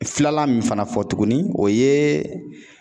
Filanan min fana fɔ tuguni o ye